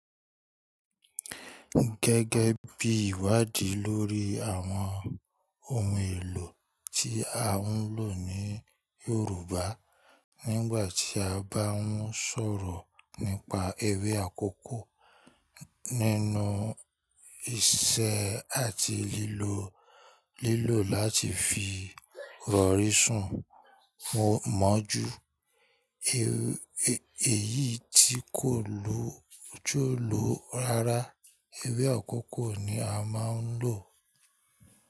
Gẹ́gẹ́ bí ìwádìí lórí àwọn ohun èlò tí a ń lò ní Yorùbá, nígbà tí a bá ń sọ̀rọ̀ nípa ewé àkókó, nínú ìṣe àti lílò, lílò láti fi rọ̀rí sùn mọ́ jù, èyí tí kò lójo ló rara, ewé àkókó ni a máa ń lò.